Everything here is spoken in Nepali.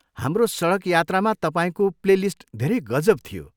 हाम्रो सडक यात्रामा तपाईँको प्लेलिस्ट धेरै गजब थियो।